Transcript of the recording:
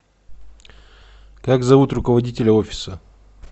как зовут руководителя офиса